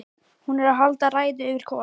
Hún er að halda ræðu yfir Kol